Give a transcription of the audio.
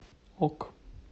ок